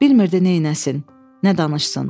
Bilmirdi neyləsin, nə danışsın.